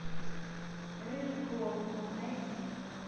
рыжий клоун найди